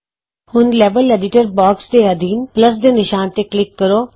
ਹੁਣ level editor box ਦੇ ਅਧੀਨ ਜਮਾ ਦੇ ਨਿਸ਼ਾਨ ਤੇ ਕਲਿਕ ਕਰੋ